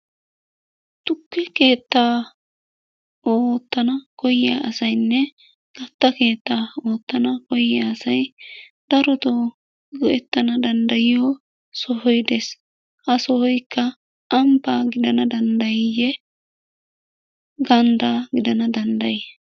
Tukke keettaa oottana koyyiya asayinne katta keetta oottana koyyiya asay darotoo go'ettana danddayiyo sohoy des. Ha sohoyikka ambbaa gidana danddayiiyye ganddaa gidana danddayi?